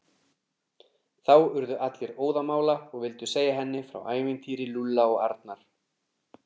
Þá urðu allir óðamála og vildu segja henni frá ævintýri Lúlla og Arnar.